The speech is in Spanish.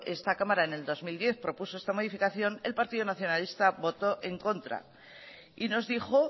esta cámara en el dos mil diez propuso esta modificación el partido nacionalista votó en contra y nos dijo